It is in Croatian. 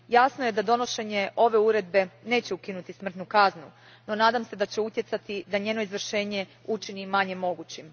Jasno je da donošenje ove Uredba neće ukinuti smrtnu kaznu, no nadam se da će utjecati da njeno izvršenje učini manje mogućim.